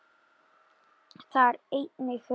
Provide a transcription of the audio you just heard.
Þar er einnig hurðin.